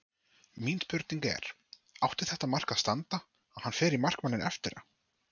Mín spurning er: Átti þetta mark að standa, hann fer í markmanninn eftir á?